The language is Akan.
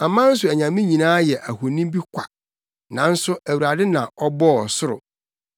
Aman so anyame nyinaa yɛ ahoni bi kwa, nanso Awurade na ɔbɔɔ ɔsoro.